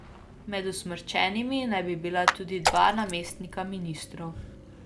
Med usmrčenimi naj bi bila tudi dva namestnika ministrov.